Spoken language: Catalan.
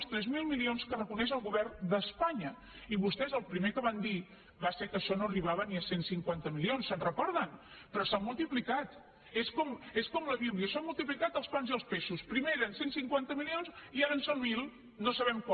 els tres mil milions que reconeix el govern d’espanya i vostès el primer que van dir va ser que això no arribava ni a cent i cinquanta milions se’n recorden però s’ha multiplicat és com la bíblia tiplicat els pans i els peixos primer eren cent i cinquanta milions i ara en són mil no sabem com